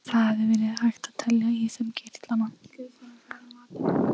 Það hefði verið hægt að telja í þeim kirtlana.